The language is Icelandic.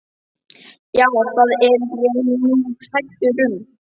Já, það er ég nú hræddur um.